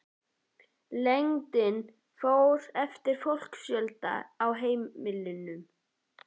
Lengdin fór eftir fólksfjölda á heimilunum.